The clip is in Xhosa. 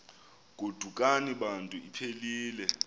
godukani bantu iphelil